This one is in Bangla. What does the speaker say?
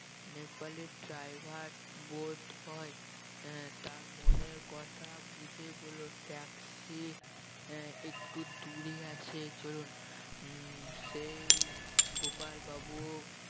নেপালি driver বোধয় আহ তার মনের কথা বুঝে বললো taxi আহ একটু দূরে আছে চলুন উম সেই গোপাল বাবুও